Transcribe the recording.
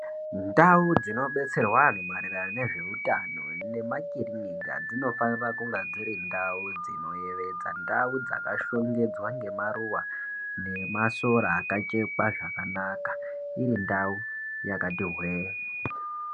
Ndau dzinodetserwa anhu maererano nezvehutano, nemakilinika dzinofanira kunge dziri ndau inoyevedza, ndau dzakashongedzwa ngemaruwa nemasora akachekwa zvakanaka ,irindau yakati hwee.